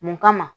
Mun kama